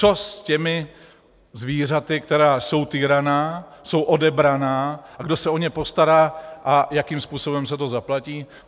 Co s těmi zvířaty, která jsou týraná, jsou odebraná, a kdo se o ně postará a jakým způsobem se to zaplatí.